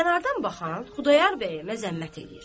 Kənardan baxan Xudayar bəyi məzəmmət eləyir.